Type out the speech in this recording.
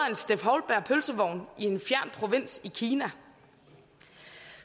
en steff houlberg pølsevogn i en fjern provins i kina